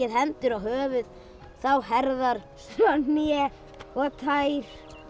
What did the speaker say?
hendur á höfuð þá herðar svo hné og tær